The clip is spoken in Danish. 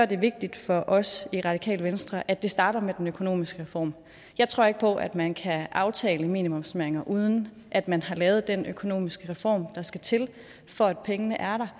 det vigtigt for os i radikale venstre at det starter med den økonomiske reform jeg tror ikke på at man kan aftale minimumsnormeringer uden at man har lavet den økonomisk reform der skal til for at pengene er der